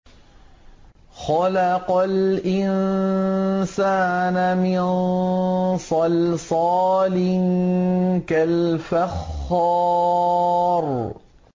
خَلَقَ الْإِنسَانَ مِن صَلْصَالٍ كَالْفَخَّارِ